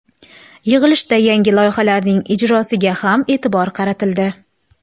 Yig‘ilishda yangi loyihalarning ijrosiga ham e’tibor qaratildi.